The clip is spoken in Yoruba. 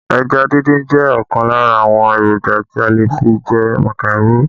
Ẹja díndín jẹ́ ọ̀kan lára àwọn èròjà tí a lè fi jẹ màkàró